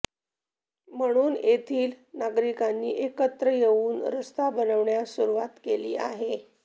म्हणून येथील नागरिकांनी एकत्र येथून रस्ता बनवण्यास सुरुवात केली आहे